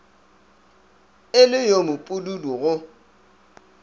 e le yo mopududu go